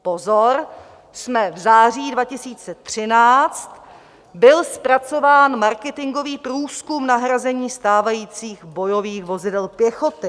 Pozor, jsme v září 2013, byl zpracován marketingový průzkum nahrazení stávajících bojových vozidel pěchoty.